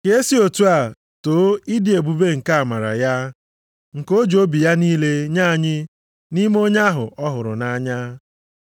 Ka e si otu a too ịdị ebube nke amara ya, nke o ji obi ya niile nye anyị nʼime Onye ahụ ọ hụrụ nʼanya.